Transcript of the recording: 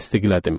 Təsdiqlədim.